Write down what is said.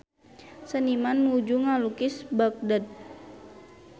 Seniman nuju ngalukis Bagdad